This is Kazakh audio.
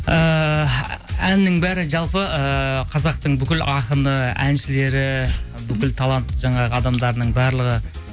ііі әннің бәрі жалпы ыыы қазақтың бүкіл ақыны әншілері бүкіл талант жаңағы адамдарының барлығы